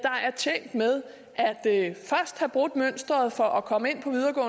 have brudt mønsteret for at komme ind på